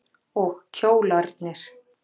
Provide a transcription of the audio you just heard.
Og kjólarnir.